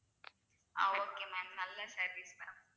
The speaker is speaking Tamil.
ஆஹ் okay ma'am நல்ல service ma'am